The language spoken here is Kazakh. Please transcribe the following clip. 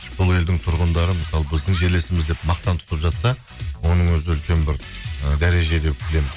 сол елдің тұрғындары мысалы біздің жерлесіміз деп мақтан тұтып жатса оның өзі үлкен бір ы дәреже деп білемін